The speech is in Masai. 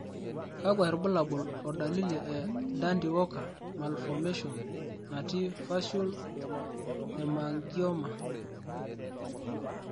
Kakwa irbulabol o dalili e Dandy Walker malformation natii facial hemangioma?